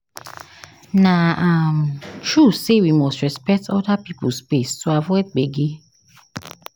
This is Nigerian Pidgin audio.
Na um true sey we must respect other pipo space to avoid gbege.